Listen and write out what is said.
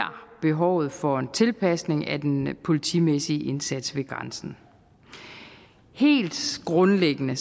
behovet for en tilpasning af den politimæssige indsats ved grænsen helt grundlæggende